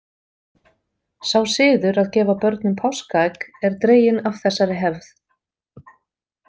Sá siður að gefa börnum páskaegg er dreginn af þessari hefð.